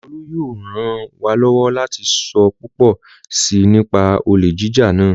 Olú yóò ràn wá lọ́wọ́ láti sọ púpọ̀ si nípa olè jíjà náà